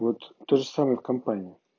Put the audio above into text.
вот тоже самое в компании